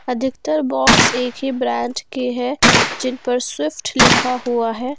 अधिकतर बॉक्स एक ही ब्रांड के हैं जिन पर स्विफ्ट लिखा हुआ है।